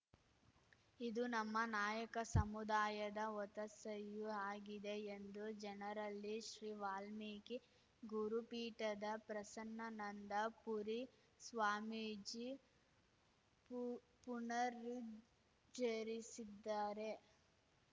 ಇದು ನಮ್ಮ ನಾಯಕ ಸಮುದಾಯದ ಒತ್ತಾಸೆಯೂ ಆಗಿದೆ ಎಂದು ಜನರಲ್ಲಿ ಶ್ರೀ ವಾಲ್ಮೀಕಿ ಗುರುಪೀಠದ ಪ್ರಸನ್ನನಂದ ಪುರಿ ಸ್ವಾಮೀಜಿ ಪು ಪುನರುಚ್ಛರಿಸಿದ್ದಾರೆ